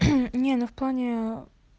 не ну в плане